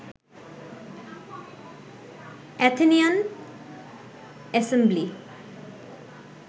Athenian assembly